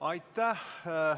Aitäh!